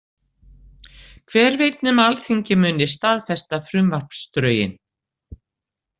Hver veit nema alþingi muni staðfesta frumvarpsdrögin?